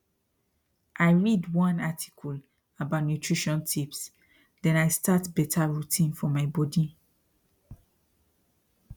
i read one article about nutrition tips then i start better routine for my body